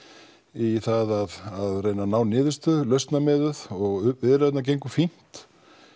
í það að reyna að ná fram niðurstöðu lausnamiðuð og viðræðurnar gengu fínt